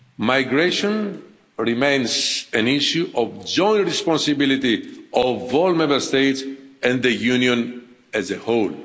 Migration remains an issue of joint responsibility of all Member States and the Union as a